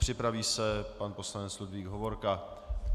Připraví se pan poslanec Ludvík Hovorka.